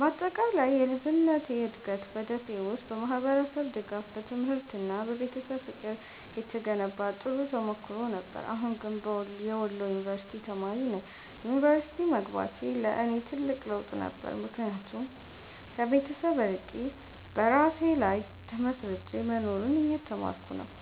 በአጠቃላይ የልጅነቴ እድገት በ ደሴ ውስጥ በማህበረሰብ ድጋፍ፣ በትምህርት እና በቤተሰብ ፍቅር የተገነባ ጥሩ ተሞክሮ ነበር። አሁን ግን የወሎ ዩንቨርስቲ ተማሪ ነኝ። ዩኒቨርሲቲ መግባቴ ለእኔ ትልቅ ለውጥ ነበር፣ ምክንያቱም ከቤተሰብ ርቄ በራሴ ላይ ተመስርቼ መኖርን እየተማርኩ ነው።